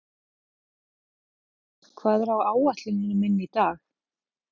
Ljóney, hvað er á áætluninni minni í dag?